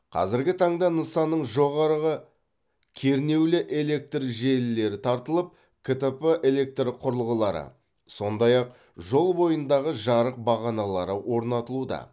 қазіргі таңда нысанның жоғарғы кернеулі электр желілері тартылып ктп электр құрылғылары сондай ақ жол бойындағы жарық бағаналары орнатылуда